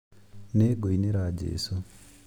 Nĩ ngũinĩra Jesũ